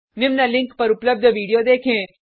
निम्न लिंक पर उपलब्ध वीडियो देखें